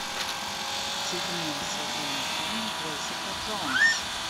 седьмой сезон фильм джессика джонс